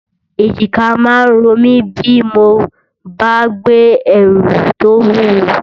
Èjìká máa ń ro mi bí mo bá gbé ẹrù tó wúwo